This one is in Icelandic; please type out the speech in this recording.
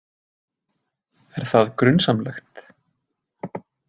Er það grunsamlegt?